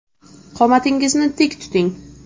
Qomatingizni tik tuting .